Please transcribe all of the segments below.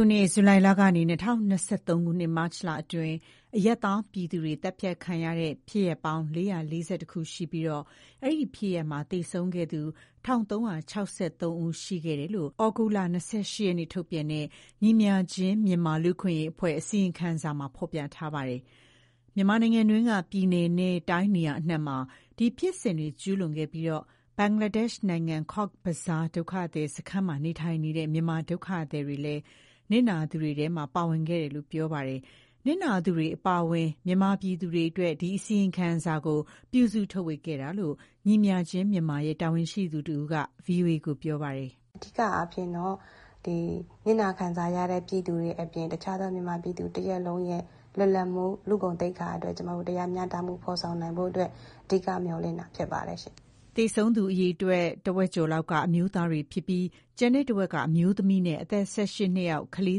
ခုနှစ်၊ ဇူလိုင်လကနေ ၂၀၂၃ ခုနှစ်၊ မတ်လအတွင်း အရပ်သားပြည်သူတွေ သတ်ဖြတ်ခံရတဲ့ ဖြစ်ရပ်ပေါင်း ၄၄၁ ခု ရှိပြီး အဲဒီဖြစ်ရပ်မှာ သေဆုံးခဲ့သူ ၁,၃၆၃ ဦး ရှိခဲ့တယ်လို့ သြဂုတ်လ ၂၈ က်နေ့က ထုတ်ပြန်တဲ့ ညီမျှခြင်းမြန်မာ လူ့အခွင့်အရေးအဖွဲ့ရဲ့ အစီရင်ခံစာမှာ ဖော်ပြထားပါတယ်။ မြန်မာနိုင်ငံတွင်းက ပြည်နယ်နဲ့ တိုင်းနေရာအနှံ့မှာ ဒီဖြစ်စဉ်တွေ ကျူးလွန်ခဲ့ပြီးတော့ ဘင်္ဂလားဒေ့ရှ်နိုင်ငံ၊ ကော့ဘဇား ဒုက္ခသည်စခန်းမှာ နေထိုင်နေတဲ့ မြန်မာဒုက္ခသည်တွေလည်း နစ်နာသူတွေထဲ ပါဝင်ခဲ့တယ်လို့ ပြောပါတယ်။ နစ်နာသူတွေ အပါအဝင် မြန်မာပြည်သူတွေအတွက် ဒီအစီရင်ခံစာကို ပြုစုထုတ်ဝေခဲ့တာလို့ ညီမျှခြင်းမြန်မာရဲ့ တာဝန်ရှိသူတဦးက ဗွီအိုအေကို အခုလို ပြောပါတယ်။ "အဓိကအားဖြင့်တော့ နစ်နာခံစားရတဲ့ ပြည်သူတွေအပြင် တခြားသော မြန်မာပြည်သူ တရပ်လုံးရဲ့ လွတ်လပ်မှု၊ လူ့ဂုဏ်သိက္ခာအတွက် ကျမတို့ တရားမျှတမှု ဖော်ဆောင်နိုင်ဖို့အတွက် အဓိက မျှော်လင့်တာ ဖြစ်ပါတယ်။" သေဆုံးသူ အရေအတွက် ထက်ဝက်ကျော်လောက်က အမျိုးသားတွေဖြစ်ပြီး၊ ကျန်တဲ့တဝက်က အမျိုးသမီးနဲ့ အသက် ၁၈ နှစ်အောက် ကလေး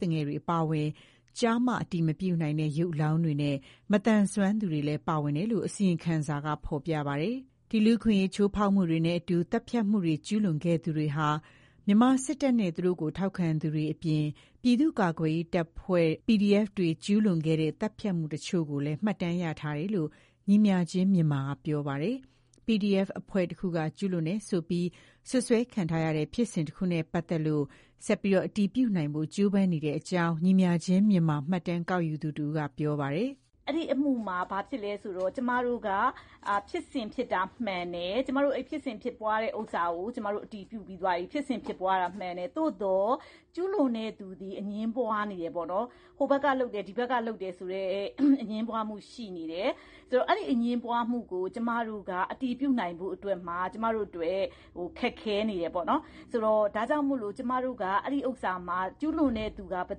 သူငယ်တွေ အပါအဝင် ကျား၊ မ အတည်မပြုနိုင်တဲ့ ရုပ်အလောင်းတွေနဲ့ မသန်စွမ်းသူတွေလည်း ပါဝင်တယ်လို့ အစီရင်ခံစာမှာ ဖော်ပြထားပါတယ်။ ဒီလူ့အခွင့်အရေး ချိုးဖောက်မှုတွေနဲ့အတူ သတ်ဖြတ်မှုတွေကို ကျူးလွန်ခဲ့သူတွေဟာ မြန်မာစစ်တပ်နဲ့ သူတို့ကို ထောက်ခံသူတွေအပြင် ပြည်သူ့ကာကွယ်ရေးတပ်ဖွဲ့ PDF တွေ ကျူးလွန်ခဲ့တဲ့ သတ်ဖြတ်မှုတချို့ကိုလည်း မှတ်တမ်းရရှိထားတယ်လို့ ညီမျှခြင်းမြန်မာက ပြောပါတယ်။ PDF အဖွဲ့တခုက ကျူးလွန်တယ်ဆိုပြီး စွပ်စွဲခံထားရတဲ့ ဖြစ်စဉ်တခုနဲ့ပတ်သက်လို့ ဆက်ပြီး အတည်ပြုနိုင်ဖို့ ကြိုးပမ်းနေတဲ့အကြောင်းလည်း ညီမျှခြင်းမြန်မာရဲ့ မှတ်တမ်းကောက်ယူသူတဦးက ပြောပါတယ်။ "အဲဒီအမှုမှာ ဖြစ်စဉ်ဖြစ်တာက မှန်တယ်။ ကျမတို့ အဲဒီဖြစ်စဉ် ဖြစ်ပွားတာကို အတည်ပြုပြီးသွားပြီ။ သို့သော် ကျူးလွန်တဲ့သူသည် အငြင်းပွားနေတယ်။ ဟိုဘက်ကလုပ်တယ်။ ဒီဘက်က လုပ်တယ်ဆိုတဲ့ အငြင်းပွားမှု ရှိနေတယ်။ ဆိုတော့ အဲဒီအငြင်းပွားမှုကို ကျမတို့က အတည်ပြုနိုင်ဖို့အတွက် ခက်ခဲနေတယ်ပေါ့နော်။ ဒါကြောင့်မို့ ကျူးလွန်တဲ့သူက ဘယ်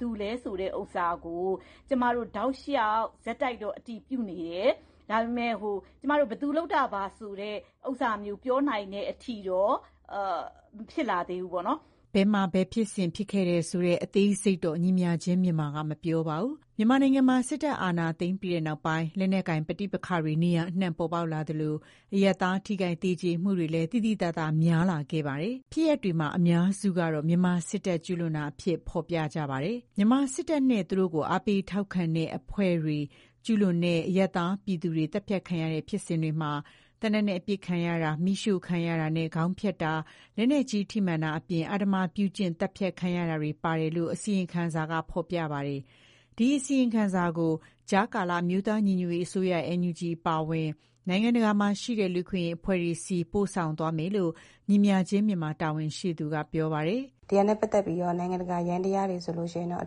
သူလဲဆိုတာကို တောက်လျှောက် ဆက်တိုက်တော့ အတည်ပြုနေတယ်။ ဒါပေမဲ့ ဘယ်သူလုပ်တာပါ ဆိုတာမျိုး ပြောနိုင်တဲ့အထိတော့ မဖြစ်လာသေးဘူးပေါ့နော်။" ဘယ်မှာ ဘယ်ဖြစ်စဉ် ဖြစ်ခဲ့တယ်ဆိုတဲ့ အသေးစိတ်ကိုတော့ ညီမျှခြင်းမြန်မာက မပြောပါဘူး။ မြန်မာနိုင်ငံမှာ စစ်အာဏာသိမ်းမှုနောက်ပိုင်း လက်နက်ကိုင်ပဋိပက္ခတွေ နေရာအနှံ့မှာ ပေါ်ပေါက်လာသလို၊ အရပ်သား ထိခိုက် သေကြေမှုတွေလည်း သိသိသာသာ များလာခဲ့တာပါ။ ဖြစ်ရပ်တွေမှာ အများစုကတော့ မြန်မာစစ်တပ်က ကျူးလွန်တာအဖြစ် ဖော်ပြထားပါတယ်။ မြန်မာစစ်တပ်နဲ့ သူတို့ကို အားပေး ထောက်ခံတဲ့ အဖွဲ့တွေ ကျူးလွန်တဲ့ အရပ်သားပြည်သူတွေ သတ်ဖြတ်ခံရတဲ့ ဖြစ်စဉ်တွေမှာ သေနတ်နဲ့ပစ်ခံရတာ၊ မီးရှို့ခံရတာနဲ့ ခေါင်းဖြတ်တာ၊ လက်နက်ကြီး ထိမှန်တာအပြင် အဓမ္မပြုကျင့်ပြီး သတ်ဖြတ်ခံရတာတွေ ပါဝင်တယ်လို့ အစီရင်ခံစာမှာ ဖော်ပြထားပါတယ်။ ဒီအစီရင်ခံစာကို ကြားကာလ အမျိုးသားညီညွတ်ရေး အစိုးရ NUG အပါအဝင်၊ နိုင်ငံတကာမှာရှိတဲ့ လူ့အခွင့်အရေး အဖွဲ့တွေဆီ ပို့ဆောင်သွားမယ်လို့ ညီမျှခြင်းမြန်မာရဲ့ တာဝန်ရှိသူက ပြောပါတယ်။ "ဒီဟာနဲ့ ပတ်သက်ပြီးတော့ နိုင်ငံတကာ ယန္တရားတွေဆိုရင် အ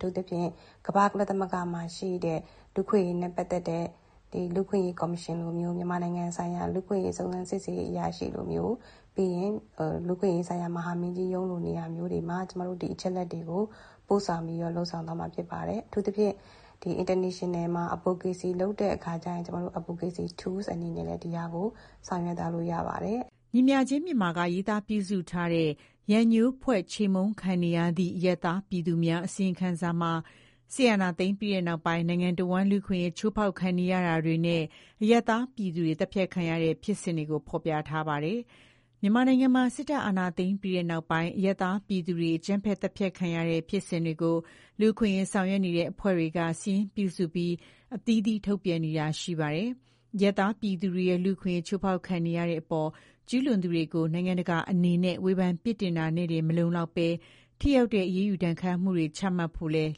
ထူးသဖြင့် ကမ္ဘာ့ကုလသမဂ္ဂမှာရှိတဲ့ လူ့အခွင့်အရေးနဲ့ ပတ်သက်တဲ့ လူ့အခွင့်အရေး ကော်မရှင်လိုမျိုး၊ မြန်မာနိုင်ငံဆိုင်ရာ လူ့အခွင့်အရေး စုံစမ်းစစ်ဆေးရေး အရာရှိလိုမျိုး၊ ပြီးရင် လူ့အခွင့်အရေးဆိုင်ရာ မဟာမင်းကြီးရုံးလို နေရာမျိုးတွေမှာ ကျမတို့ ဒီအချက်အလက်တွေကို ပို့ဆောင်ပြီးတော့ လုပ်ဆောင်သွားမှာ ဖြစ်ပါတယ်။ အထူးသဖြင့် ဒီ နိုင်ငံတကာမှာ Advocacy လုပ်တဲ့အခါကျရင် ကျမတို့ Advocacy Tools အနေနဲ့လည်း ဒီဟာကို ဆောင်ရွက်သွားလို့ ရပါတယ်။" ညီမျှခြင်းမြန်မာက ရေးသားပြုစုထားတဲ့ "ရန်ငြိုးဖွဲ့ချေမှုန်းခံနေရသည့် အရပ်သားပြည်သူများ" အစီရင်ခံစာမှာ စစ်အာဏာသိမ်းပြီးနောက်ပိုင်း နိုင်ငံတဝန်း လူ့အခွင့်အရေး ချိုးဖောက်ခံရတာတွေနဲ့ အရပ်သားပြည်သူတွေ သတ်ဖြတ်ခံရတဲ့ ဖြစ်စဉ်တွေကို ဖော်ပြထားပါတယ်။ မြန်မာနိုင်ငံမှာ စစ်တပ်အာဏာသိမ်းပြီးနောက် အရပ်သားပြည်သူတွေ အကြမ်းဖက် သတ်ဖြတ်ခံရတဲ့ ဖြစ်စဉ်တွေကို လူ့အခွင့်အရေး ဆောင်ရွက်နေတဲ့ အဖွဲ့တွေက စာရင်းပြုစုပြီး အသီးသီး ထုတ်ပြန်နေတာ ရှိပါတယ်။ အရပ်သားပြည်သူတွေရဲ့ လူ့အခွင့်အရေး ချိုးဖောက်ခံနေရတဲ့အပေါ် ကျူးလွန်သူတွေကို နိုင်ငံတကာအနေနဲ့ ဝေဖန်ပြစ်တင်တာနဲ့တင် မလုံလောက်ဘဲ၊ ထိရောက်တဲ့ အရေးယူဒဏ်ခတ်မှုမျိုးတွေ ချမှတ်ဖို့ကိုလည်း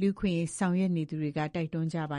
လူ့အခွင့်အရေးဆောင်ရွက်သူတွေက တိုက်တွန်းနေကြပါ